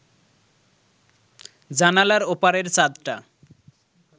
জানালার ওপারের চাঁদটা